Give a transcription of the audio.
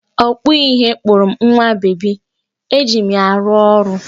Ọkpụ ihe kpụrụ m nwa bebi, eji m ya arụ ọrụ